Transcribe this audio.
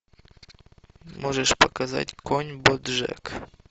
можешь показать конь боджек